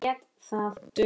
Tómas lét renna í bað.